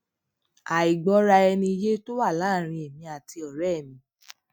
àìgbóraẹniyé tó wáyé láàárín èmi àti òré mi